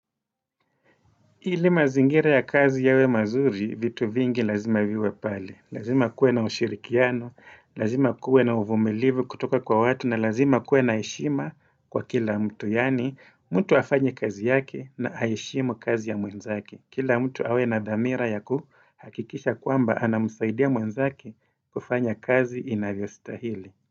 Ili mazingira ya kazi yawe mazuri, vitu vingi lazima viwe pale. Lazima kuwe na ushirikiano, lazima kuwe na uvumilivu kutoka kwa watu, na lazima kuwe na heshima kwa kila mtu, yaani mtu afanye kazi yake na aheshimu kazi ya mwenzake. Kila mtu awe na dhamira ya kuhakikisha kwamba anamsaidia mwenzake kufanya kazi inavyostahili.